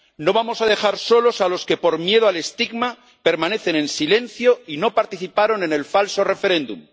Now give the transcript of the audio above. No vamos a dejar solos a los que, por miedo al estigma, permanecen en silencio y no participaron en el falso referéndum.